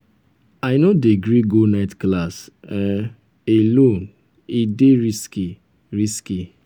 i no dey gree go night class um alone e dey risky. risky.